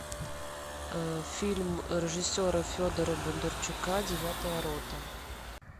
фильм режиссера федора бондарчука девятая рота